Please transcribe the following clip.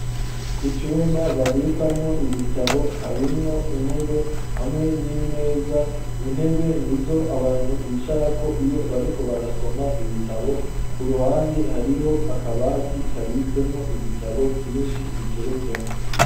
Icumba babikamwo ibitabo harimwo intebe hamwe n'imeza, intebe nizo abantu bicara ko iyo bariko barasoma ibitabo ku ruhande hariho akabati kabitsemwo ibitabo vyinshi biteretsemwo.